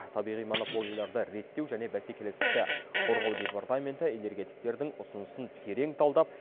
табиғи монополияларды реттеу және бәсекелестікті қорғау департаменті энергетиктердің ұсынысын терең талдап